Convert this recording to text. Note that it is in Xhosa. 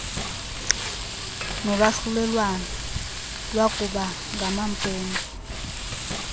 nolwahlulelwano lwakuba ngamampunge